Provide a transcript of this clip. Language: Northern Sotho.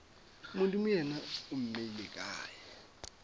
modimo yena o mmeile kae